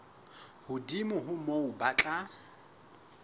hodimo ho moo ba tla